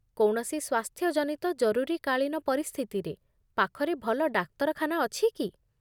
କୌଣସି ସ୍ୱାସ୍ଥ୍ୟ ଜନିତ ଜରୁରୀକାଳୀନ ପରିସ୍ଥିତିରେ, ପାଖରେ ଭଲ ଡାକ୍ତରଖାନା ଅଛି କି?